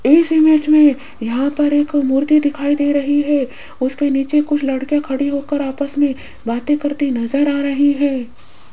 इस इमेज में यहां पर एक मूर्ति दिखाई दे रही है उसके नीचे कुछ लड़की खड़ी होकर आपस में बातें करती नजर आ रही है।